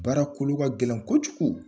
Baara kolo ka gɛlɛn kojugu